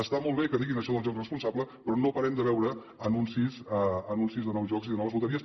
està molt bé que diguin això del joc responsable però no parem de veure anuncis de nous jocs i de noves loteries